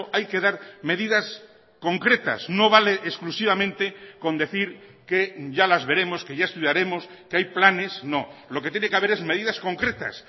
hay que dar medidas concretas no vale exclusivamente con decir que ya las veremos que ya estudiaremos que hay planes no lo que tiene que haber es medidas concretas